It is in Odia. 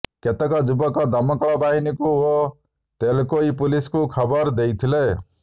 କେତେକ ଯୁବକ ଦମକଳ ବାହିନୀକୁ ଓ ତେଲକୋଇ ପୁଲିସକୁ ଖବର ଦେଇଥିଲେ